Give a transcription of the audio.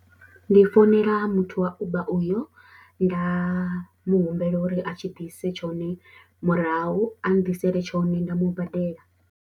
Ndi founela muthu wa Uber uyo nda mu humbela uri a tshi ḓise tshone murahu a nḓisele tshone nda mu badela.